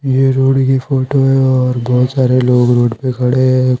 ये रोड की फोटो हैऔर बहुत सारे लोग रोड प खड़े हैं।